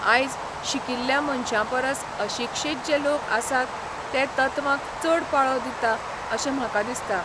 आयज शिकिल्ल्या मनशां परस अशिक्षीत जे लोक आसात ते तत्वांक चड पाळो दिता अशें म्हाका दिसता.